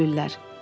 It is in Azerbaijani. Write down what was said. Gülürlər.